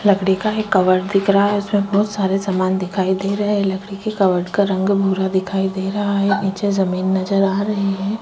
लकड़ी का एक कबर्ड दिख रहा है इसमे बहुत सारे सामान दिखाई दे रहै है लकड़ी की कबर्ड का रंग भूरा दिखाई दे रहा है नीचे जमीन नज़र आ रहै हैं।